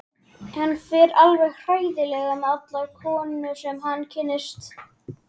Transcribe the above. Hann fer alveg hræðilega með allar konur sem hann kynnist.